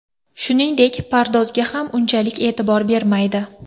Shuningdek, pardozga ham unchalik e’tibor bermaydi.